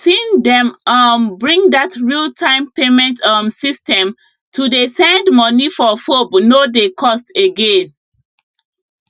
sine dem um bring dat real time payment um system to dey send money for fobe no dey cost again